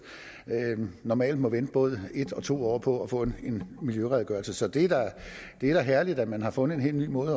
normalt må vente både en og to år på at få en miljøredegørelse så det er da herligt at man har fundet en helt ny måde